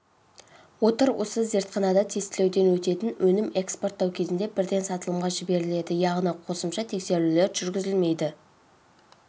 отыр осы зертханада тестілеуден өтетін өнім экспорттау кезінде бірден сатылымға жіберіледі яғни қосымша тексерулер жүргізілмейді